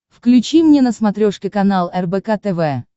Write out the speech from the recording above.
включи мне на смотрешке канал рбк тв